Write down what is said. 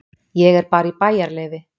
Ég er bara í bæjarleyfi.